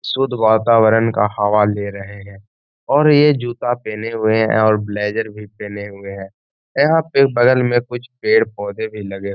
शुद्ध वातावरण का हवा ले रहे है और ये जूता पहने हुए है और ब्लेज़र भी पहने हुए है। यहाँ पे बगल में कुछ पेड़-पौधा भी लगे --